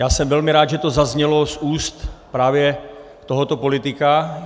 Já jsem velmi rád, že to zaznělo z úst právě tohoto politika.